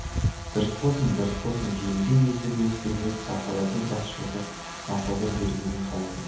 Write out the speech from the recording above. дұрыс болсын бұрыс болсын желдей есіп өз сөйлеп бақалардың бас шұлғып мақұлдай бергенін қалайтын